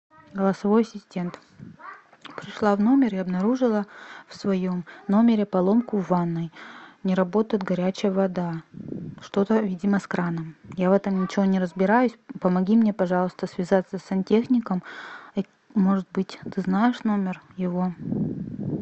голосовой ассистент пришла в номер и обнаружила в своем номере поломку в ванной не работает горячая вода что то видимо с краном я в этом ничего не разбираюсь помоги мне пожалуйста связаться с сантехником может быть ты знаешь номер его